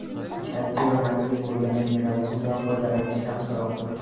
kalsiy va magniy bo‘lgan mineral suvdan foydalanish yaxshiroqdir.